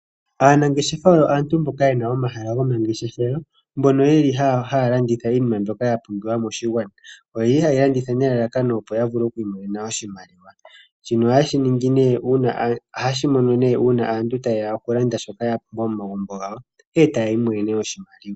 Aanangeshefa oyo aantu mboka yena omahala gomangeshefelo mbono yeli haa landitha iinima mbyoka ya pumbiwa moshigwana shika ohayeshi ningi nee uuna tayeya okulanda shoka shoka ya pumbwa momagumbo gawo eta yi imonene wo oshimaliwa.